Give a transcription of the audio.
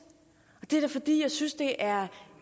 og det er da fordi jeg synes det er